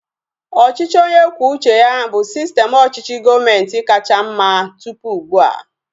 Ọchịchị onye kwuo uche ya bụ sistem ọchịchị gọọmenti kacha mma tụpụ ugbua